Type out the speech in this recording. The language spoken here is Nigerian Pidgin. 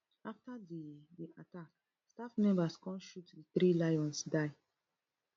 afta di di attack staff members come shot di three lions die